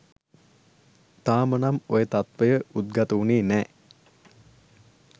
තාමනම් ඔය තත්ත්වය උද්ගත වුනේ නෑ